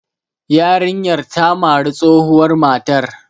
Yarinyar ta mari tsohuwar matar.